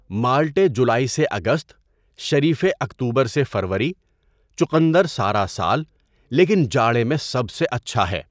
مالٹے جولائی سے اگست، شریفے اکتوبر سے فروری، چقندر سارا سال، لیکن جاڑے میں سب سے اچھا ہے۔